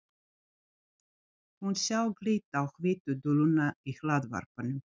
Hún sá glitta á hvítu duluna í hlaðvarpanum.